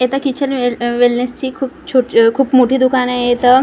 इथं kitchen ware wellness ची खूप छोटी मोठी दुकान आहेत.